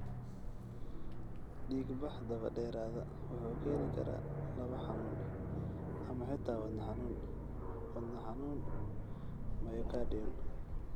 Dhiigbax daba dheeraada wuxuu keeni karaa laab xanuun, ama xitaa wadna xanuun (wadnaxanuun myocardial).